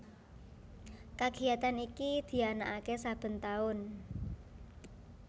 Kagiyatan iki dianakake saben taun